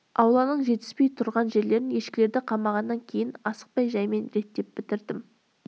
ауланың жетіспей тұрған жерлерін ешкілерді қамағаннан кейін асықпай жайымен реттеп бітірдім